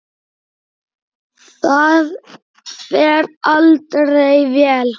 Það fer aldrei vel.